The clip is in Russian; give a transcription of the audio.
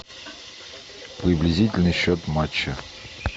приблизительный счет матча